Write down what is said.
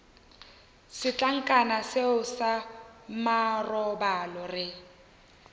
setlankana seo sa marobalo re